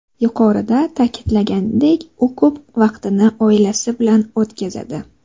Yuqorida ta’kidlanganidek, u ko‘p vaqtini oilasi bilan o‘tkazadi.